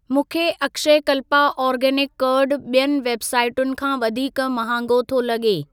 मूंखे Akshayakalpa organic curd ॿियुनि वेबसाइटुनि खां वधीक महांगो थो लॻे।